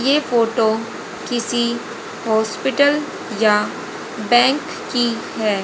ये फोटो किसी हॉस्पिटल या बैंक की है।